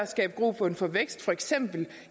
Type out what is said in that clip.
skabes grobund for vækst for eksempel